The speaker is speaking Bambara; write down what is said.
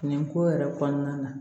Nin ko yɛrɛ kɔnɔna na